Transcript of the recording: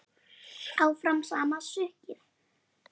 Áfram sama sukkið?